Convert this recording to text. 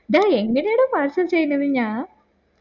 ഡാ എങ്ങനെയാണ് parcel ചെയ്യുന്നത് ഞാന്